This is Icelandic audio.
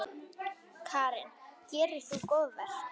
Karen: Gerir þú góðverk?